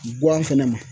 Guwa fɛnɛ ma